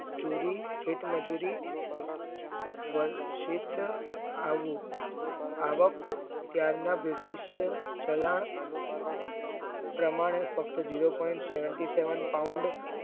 જુરી થેટ મજૂરી વંશીત આવી આવકત ત્યારના બ્રિટિશ ચલણ પ્રમાણે ફક્ત zero point seventy seventy paund